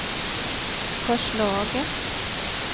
förslaget